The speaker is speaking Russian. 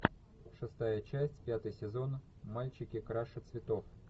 шестая часть пятый сезон мальчики краше цветов